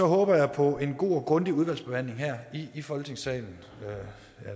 håber jeg på en god og grundig udvalgsbehandling her i folketingssalen